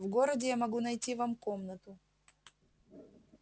в городе я могу найти вам комнату